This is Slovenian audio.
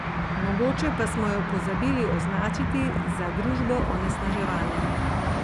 Mogoče pa smo jo pozabili označiti za družbo onesnaževanja.